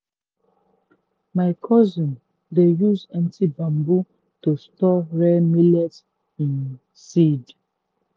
my cousin dey use empty bamboo to store rare millet um seed.